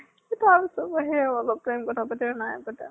তাৰ পিছত সেই আৰু অলপ time কথা পতাৰ পিছত নাই পতা ।